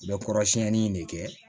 U bɛ kɔrɔsiyɛnni in de kɛ